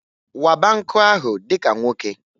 Waba nkụ ahụ dika nwoke!